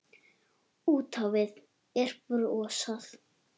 Út á við er brosað.